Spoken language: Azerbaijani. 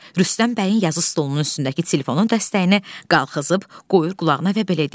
Rüstəm bəyin yazı stolunun üstündəki telefonun dəstəyini qaxızıb qoyur qulağına və belə deyir.